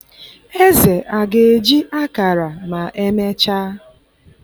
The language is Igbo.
Eze a ga-eji ákàrà ma emechaa?